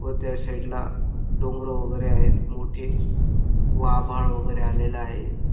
व त्या साइड ला डोंगर वगेरे आहेत मोठे व आभाळ वगेरे आलेल आहे.